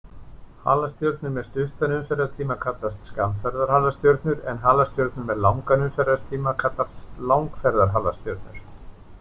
Halastjörnur með stuttan umferðartíma kallast skammferðarhalastjörnur en halastjörnur með langan umferðartíma kallast langferðarhalastjörnur.